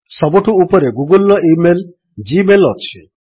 ସବୁଠୁ ଉପରେ ଗୁଗଲ୍ ର ଇମେଲ୍ ଜି ମେଲ୍ ଅଛି